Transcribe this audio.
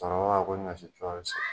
Cɔkɔrɔba b'a fɔ ko ni ɲɔsi kura bi se